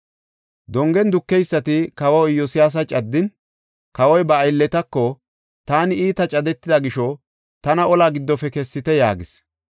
Dongen dukeysati kawa Iyosyaasa caddin, kawoy ba aylletako, “Taani iita cadetida gisho tana olaa giddofe kessite” yaagis.